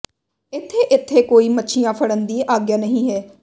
ਇੱਥੇ ਇੱਥੇ ਕੋਈ ਮੱਛੀਆਂ ਫੜਨ ਦੀ ਆਗਿਆ ਨਹੀਂ ਹੈ